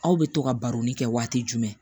Aw bɛ to ka baroni kɛ waati jumɛn